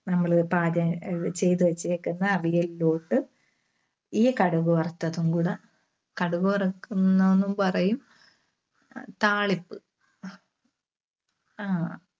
നമ്മള് പാചകം അഹ് ചെയ്‌തുവെച്ചേക്കുന്ന അവിയലിലോട്ട് ഈ കടുക് വറുത്തതും കൂടെ, കടുക് വറക്കുന്നുന്നും പറയും. താളിപ്പ് ആഹ്